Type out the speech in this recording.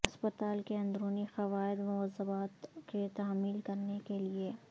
ہسپتال کے اندرونی قواعد و ضوابط کی تعمیل کرنے کے لئے